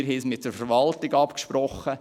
Wir haben uns mit der Verwaltung abgesprochen.